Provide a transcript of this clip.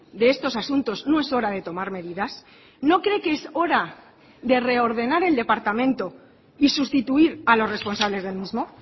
de estos asuntos no es hora de tomar medidas no cree que es hora de reordenar el departamento y sustituir a los responsables del mismo